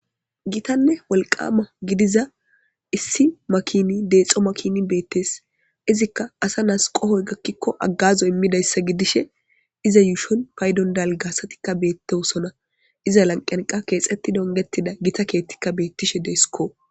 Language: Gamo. Gitane wolqama gidiza issi makini dexo makini betes izika asa nas qohoy gakiko agazo imidayssa gidishe iza yushon paydon dalga asatika betosona iza lanqiyan qa kexetidi ongetida gita kethika betishe de'eskko.